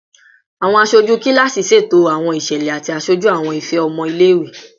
Awọn aṣoju kilasi ṣeto awọn iṣẹlẹ ati aṣoju awọn ifẹ ọmọ ile-iwe